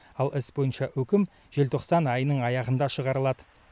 ал іс бойынша үкім желтоқсан айының аяғында шығарылады